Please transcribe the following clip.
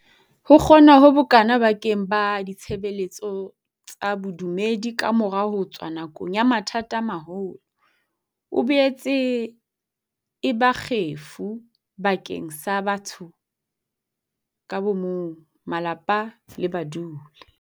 Ho kgona ho bokana ba keng sa ditshebeletso tsa bodumedi kamora ho tswa nakong ya mathata a maholo, e boetse e ba kgefu bakeng sa batho ka bo mong, malapa le badudi.